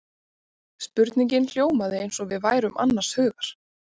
Spurningin hljómaði eins og við værum annars hugar.